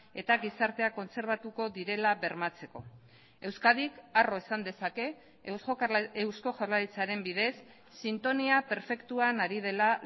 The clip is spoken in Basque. eta gizarteak kontserbatuko direla bermatzeko euskadik harro esan dezake eusko jaurlaritzaren bidez sintonia perfektuan ari dela